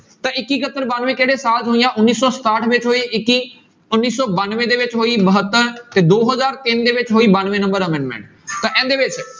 ਤਾਂ ਇੱਕੀ ਇਕੱਹਤਰ ਬਾਨਵੇਂ ਕਿਹੜੇ ਸਾਲ 'ਚ ਹੋਈਆਂ ਉੱਨੀ ਸੌ ਸਤਾਹਠ ਵਿੱਚ ਹੋਈ ਇੱਕੀ, ਉੱਨੀ ਸੌ ਬਾਨਵੇਂ ਦੇ ਵਿੱਚ ਹੋਈ ਬਹੱਤਰ, ਤੇ ਦੋ ਹਜ਼ਾਰ ਤਿੰਨ ਦੇ ਵਿੱਚ ਹੋਈ ਬਾਨਵੇਂ number amendment ਤਾਂ ਇਹਦੇ ਵਿੱਚ